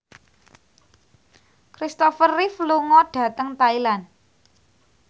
Christopher Reeve lunga dhateng Thailand